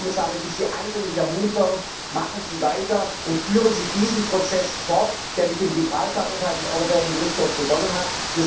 Deswegen, Herr Kommissar, möchte ich Sie eindringlich ermuntern Machen Sie weiter und führen Sie diesen Prozess fort, der mit dem Gibraltar Urteil des Europäischen Gerichtshofs begonnen hat.